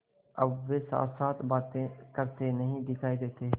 अब वे साथसाथ बातें करते नहीं दिखायी देते